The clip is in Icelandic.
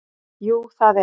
Jú það er